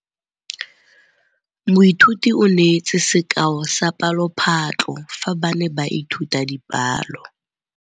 Moithuti o neetse sekaô sa palophatlo fa ba ne ba ithuta dipalo.